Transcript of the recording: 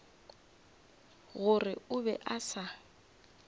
gore o be a se